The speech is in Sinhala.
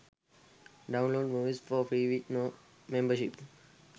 download movies for free with no membership